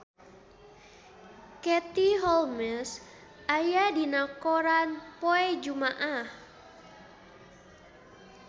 Katie Holmes aya dina koran poe Jumaah